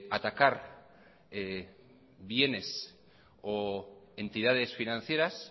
atacar bienes o entidades financieras